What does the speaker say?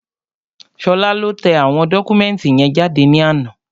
Ṣọlá lọ tẹ àwọn dọ́kúmẹ̀ntì yẹn jáde ní àná